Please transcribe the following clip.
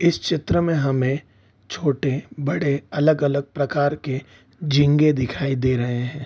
इस चित्र में हमें छोटे-बड़े अलग-अलग प्रकार के झींगे दिखाई दे रहे हैं।